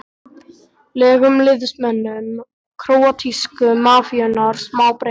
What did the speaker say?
legum liðsmönnum króatísku mafíunnar smá breik?